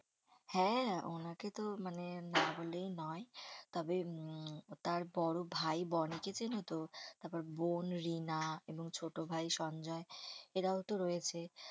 হ্যাঁ হ্যাঁ ওনাকে তো মানে না বলেই নয় তবে উম তার বড় ভাই বোনকে চেনো তো? তারপর বোন রিনা এবং ছোট ভাই সঞ্জয় এরাও তো রয়েছে।